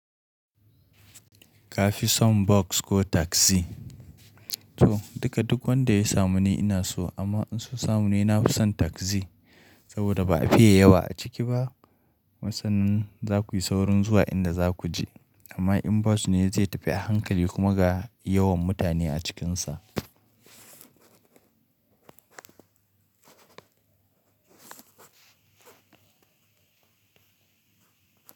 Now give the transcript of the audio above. Ka fi son bus ko taxi? To, duka duk wanda ya samu ni ina so amma in so samu ne, na fi son taxi saboda ba a fiye yawa a ciki ba. Kuma sannan za ku yi saurin zuwa inda za ku je amma in bus ne zai tafi a hankali kuma ga yawan mutane a cikinsa.